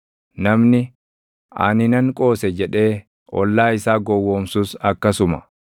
namni, “Ani nan qoose!” jedhee ollaa isaa gowwoomsus akkasuma.